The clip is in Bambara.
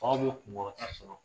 Aw bɛ' kunkɔrɔta sɔrɔ